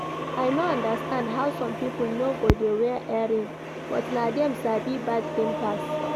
I no understand how some people no go dey wear earring but na dem sabi bad thing pass